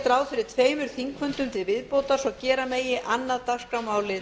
ráð fyrir tveimur þingfundum til viðbótar svo gera megi annað